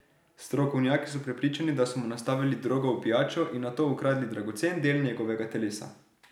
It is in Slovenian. Strokovnjaki so prepričani, da so mu nastavili drogo v pijačo in nato ukradli dragocen del njegovega telesa.